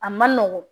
A man nɔgɔn